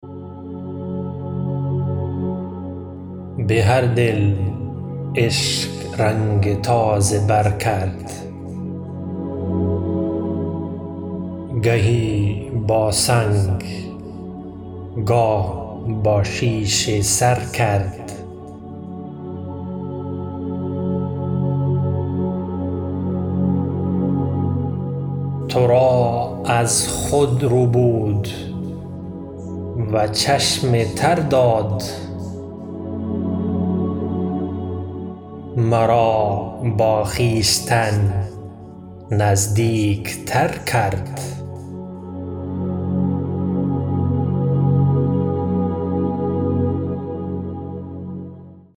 بهر دل عشق رنگ تازه بر کرد گهی با سنگ گه با شیشه سر کرد ترا از خود ربود و چشم تر داد مرا با خویشتن نزدیک تر کرد